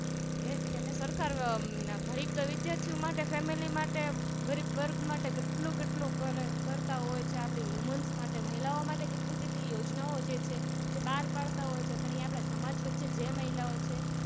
એ જ તેને સરકાર ગડીક વિદ્યાર્થીમાટે Family માટે ગરીબ વર્ગમાટે કેટલું કેટલું કરતા હોય છે Woman મહિલાઓં માટે કેટલી કેટલી યોજના ઓં બાર પાડતા હોય છે એ આપણે સમાજ વચ્ચે જે મહિલા ઓં છે